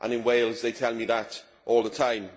in Wales, they tell me that all the time.